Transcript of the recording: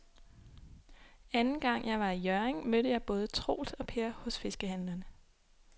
Anden gang jeg var i Hjørring, mødte jeg både Troels og Per hos fiskehandlerne.